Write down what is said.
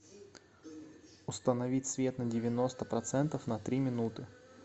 установить свет на девяносто процентов на три минуты